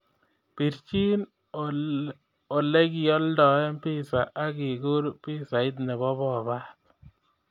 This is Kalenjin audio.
Pirchi olegiolden pissa ak iguur pisait nebo pobat